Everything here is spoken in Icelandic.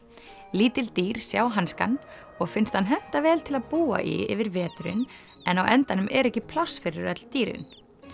lítil dýr sjá hanskann og finnst hann henta vel til að búa í yfir veturinn en á endanum er ekki pláss fyrir öll dýrin